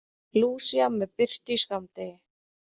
Lúsía með birtu í skammdegi